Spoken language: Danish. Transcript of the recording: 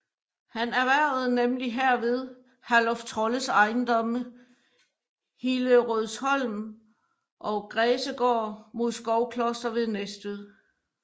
Han erhvervede nemlig herved Herluf Trolles ejendomme Hillerødsholm og Græsegård imod Skovkloster ved Næstved